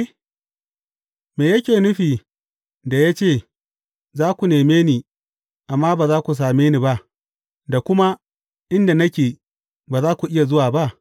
Me yake nufi da ya ce, Za ku neme ni, amma ba za ku same ni ba,’ da kuma Inda nake, ba za ku iya zuwa ba’?